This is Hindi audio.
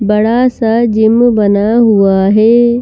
बड़ा सा जिम बना हुआ है।